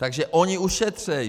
Takže oni ušetří.